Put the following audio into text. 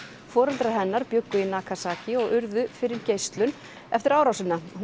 foreldrar hennar bjuggu í Nagasaki og urðu fyrir geislun eftir árásina hún